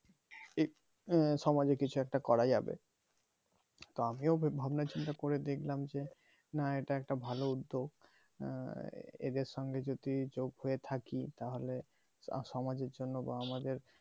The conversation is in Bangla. এই সামাজিক কিছু একটা করা যাবে তো আমিও ভাবনা চিন্তা করে দেখলাম যে না এটা একটা ভালো উদ্যোগ এদের সঙ্গে চোখ দিয়ে থাকে তাহলে সামায়ের জন্য বা আমাদের